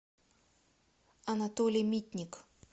анатолий митник